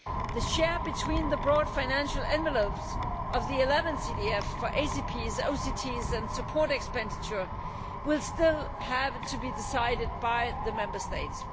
The share between the broad financial envelopes of the 11th EDF for ACPs, OCTs and support expenditure will still have to be decided by the Member States.